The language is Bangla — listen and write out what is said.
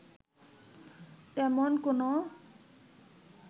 তেমন কোনো